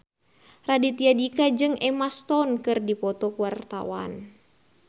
Raditya Dika jeung Emma Stone keur dipoto ku wartawan